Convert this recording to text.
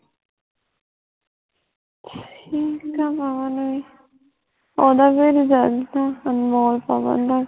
ਠੀਕ ਆ ਪਵਨ ਵੀ ਓਹਦਾ ਵੀ result ਆ, ਅਨਮੋਲ ਪਵਨ ਦਾ